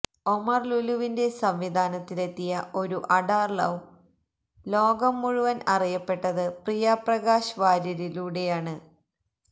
ഒമര് ലുലുവിന്റെ സംവിധാനത്തിലെത്തിയ ഒരു അഡാറ് ലവ് ലോകം മുഴുവന് അറിയപ്പെട്ടത് പ്രിയ പ്രകാശ് വാര്യരിലൂടെയാണ്